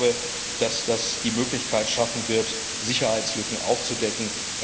Ich glaube, dass das die Möglichkeit schaffen wird, Sicherheitslücken aufzudecken.